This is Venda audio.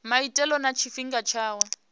maitele na tshifhinga tsha u